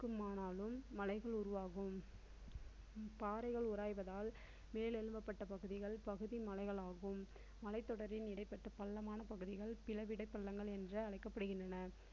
ஆனாலும் மலைகள் உருவாகும். பாறைகள் உராய்வதால் மேல் எழும்பப்பட்ட பகுதிகள் பகுதி மலைகள் ஆகும். மலை தொடரின் இடைப்பட்ட பள்ளமான பகுதிகள் பிளவிடை பள்ளங்கள் என்று அழைக்கப்படுகின்றன.